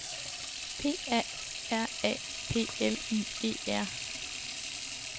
P A R A P L Y E R